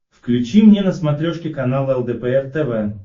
включи мне на смотрешке канал лдпр тв